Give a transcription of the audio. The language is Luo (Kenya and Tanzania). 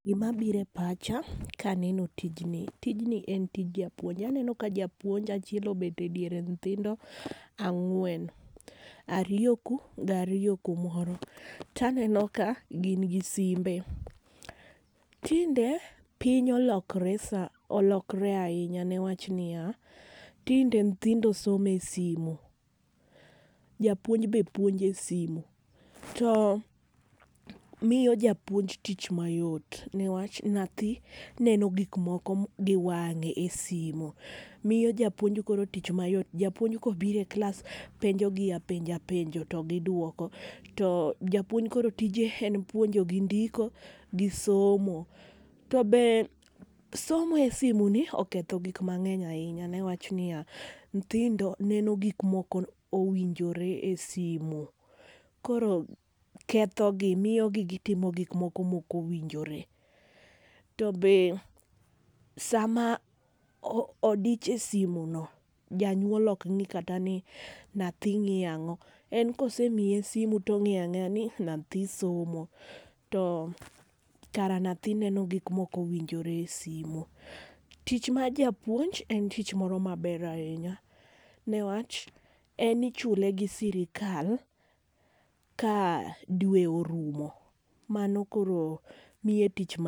Gi ma biro e pacha ka aneno tijni. Tijni en tij japuonj. Aneno ka japuonj achiel obet e diere nyithindo ang'wen, ariyo kuu gi ariyo kumoro. To aneno ka gin gi simbe. Tinde piny olokre sana olokre ainya ne wach ni ya, tinde nyithindo somo e simo japuonj be puonjo e simo to omiyo japuonj tich ma yot newach nyathi neno gik moko gi wange e simo miyo japuynj koro tich am yot japuonj ka obiro e klas to openjo gi apenja penjo to gi duoko to japuonj koro tije en puonjo gi ndiko gi somo. To be somo e simu ni noketho gik mangeny ne wach ni ya, nyithindo neno gik ma ok owinjore e simo koro ketho gi miyo gi timo gik moko ma ok owinjore. To be saa ma odich e simu no janyuoll ok ng'i kata ni nyathi ng'iyo ang'o kosemiye simo to ongeyo angeya ni nyathi somo. Kara nyathi neno gik ma ok owinjore e simo .Tich mar japuonj en tich moro ma ber ainya ne wach en ichule gi sirkal ka dwe orumo .Mano koro miye tich ma.